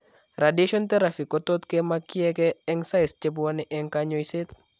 Radiation teraphy kotot kemakyikee eng' cysts chebwone eng' kanyoiset